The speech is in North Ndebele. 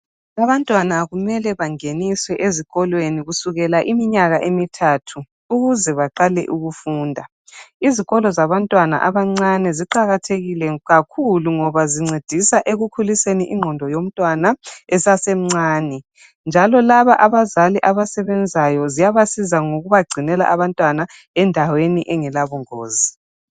Abantwana kumele bangeniswe ezikolweni kusukela iminyaka emithathu ukuze baqale ukufunda, izikolo zabantwana abancane ziqakathekile kakhulu ngoba zincedisa ekukhuliseni ingqondo yomntwana esasemncane, njalo laba abazali abasebenzayo ziyabasiza ngokubagcinela abantwana endaweni engela bungozi.